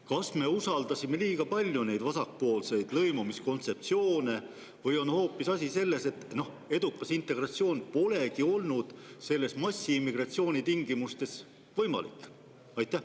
Kas me usaldasime liiga palju neid vasakpoolseid lõimumiskontseptsioone või on hoopis asi selles, et edukas integratsioon polegi olnud massiimmigratsiooni tingimustes võimalik?